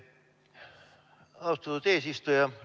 Austatud eesistuja!